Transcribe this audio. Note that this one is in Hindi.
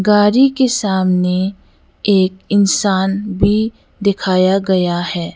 गाड़ी के सामने एक इंसान भी दिखाया गया है।